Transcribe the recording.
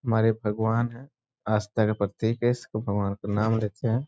हमारे भगवान हैं आस्था के प्रतीक हैं इसको भगवान का नाम लेते हैं।